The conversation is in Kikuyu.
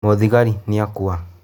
Mũthigari nĩakua.